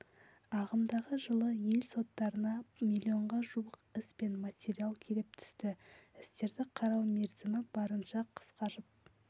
ағымдағы жылы ел соттарына миллионға жуық іс пен материал келіп түсті істерді қарау мерзімі барынша қысқарып